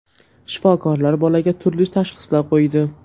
Shifokorlar bolaga turli tashxislar qo‘ydi.